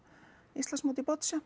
Íslandsmóti í